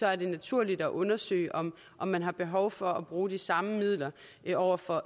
er det naturligt at undersøge om om man har behov for at bruge de samme midler over for